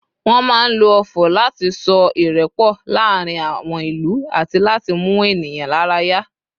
wan ma n lo ofò lati so irepo laarin àwọn ìlú ati láti mú ènìyàn lára yá